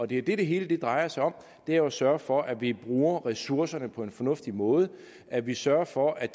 det det hele drejer sig om er jo at sørge for at vi bruger ressourcerne på en fornuftig måde at vi sørger for at